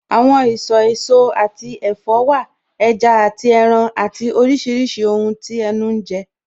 Àwọn ìsọ̀ èso àti ẹ̀fọ́ wà, ẹja àti ẹran àti oríṣiríṣi ohun tí ẹnu ń jẹ